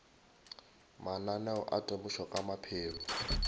mananeo a temošo ka maphelo